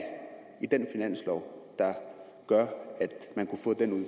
i den finanslov der gør